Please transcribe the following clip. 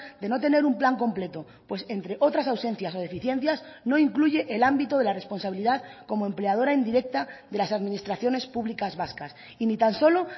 de no tener un plan completo pues entre otras ausencias o deficiencias no incluye el ámbito de la responsabilidad como empleadora indirecta de las administraciones públicas vascas y ni tan solo